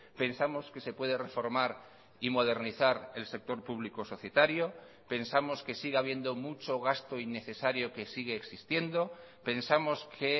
pensamos que se puede reformar y modernizar el sector público societario pensamos que sigue habiendo mucho gasto innecesario que sigue existiendo pensamos que